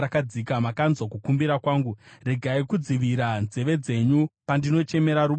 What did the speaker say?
Makanzwa kukumbira kwangu: “Regai kudzivira nzeve dzenyu pandinochemera rubatsiro.”